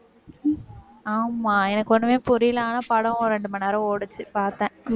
ஆமா, எனக்கு ஒண்ணுமே புரியல. ஆனா படம் ஒரு ரெண்டு மணி நேரம் ஓடுச்சு பாத்தேன்.